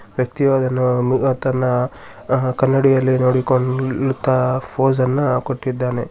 ವ್ಯಕ್ತಿಯೊಬ್ಬನು ತನ್ನ ಕನ್ನಡಿಯಲ್ಲಿ ನೋಡಿಕೊಳ್ಳುತ್ತಾ ಫೋಜ್ ಅನ್ನ ಕೊಟ್ಟಿದ್ದಾನೆ.